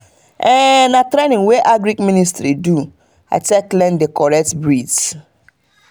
na training wey agric ministry do i take learn the correct breeds.